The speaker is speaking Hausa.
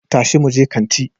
Tashi muje kanti